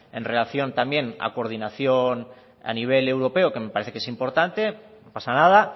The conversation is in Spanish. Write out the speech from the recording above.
en relación también a coordinación a nivel europeo que me parece que es importante no pasa nada